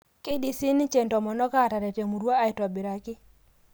Keidim siininche intomonok aataret emurua aitobiraki.